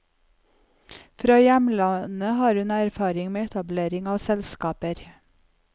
Fra hjemlandet har hun erfaring med etablering av selskaper.